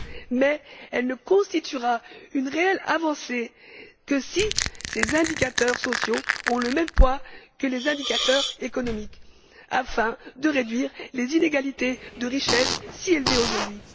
mais elle ne constituera une réelle avancée que si ces indicateurs sociaux ont le même poids que les indicateurs économiques, afin de réduire les inégalités de richesse, si élevées aujourd'hui.